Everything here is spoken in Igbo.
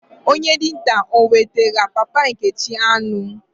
Onye dinta o wetara papa Nkechi anu?